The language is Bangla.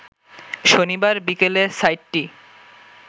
শনিবার বিকেলে সাইটটি